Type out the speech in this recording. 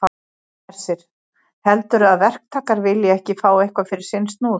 Hersir: Heldurðu að verktakar vilji ekki fá eitthvað fyrir sinn snúð?